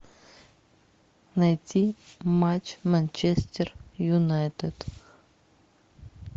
найти матч манчестер юнайтед